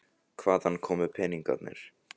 En hvaðan komu peningarnir?